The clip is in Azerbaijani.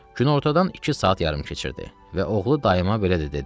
Günortadan iki saat yarım keçirdi və oğlu dayıma belə də dedi.